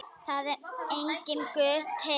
Það er enginn Guð til.